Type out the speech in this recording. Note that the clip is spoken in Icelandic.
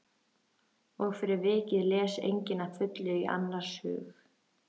Og fyrir vikið les enginn að fullu í annars hug.